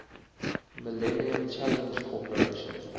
millennium challenge corporation